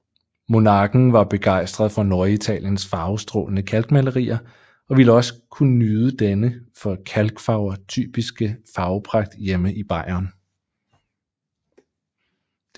Monarken var begejstret for Norditaliens farvestrålende kalkmalerier og ville også kunne nyde denne for kalkfarver typiske farvepragt hjemme i Bayern